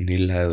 नीला है और --